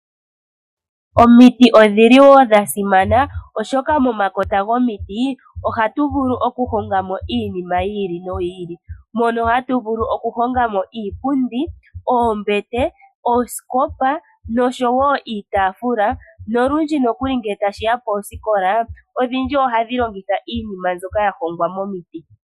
Omiti odhiliwo dha simana oshoka momakota gomiti ohatu vulu oku hongamo iinima yiili noyili mono hatu vulu oku hongamo iipundi, oombete ,oosikopa noshowo iitafula nolundji nokuli ngele tashiya koosikola odhindji ohadhi longitha iinima mbyoka ya hongwa momiti.